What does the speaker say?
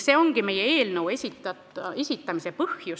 See ongi meie eelnõu esitamise põhjus.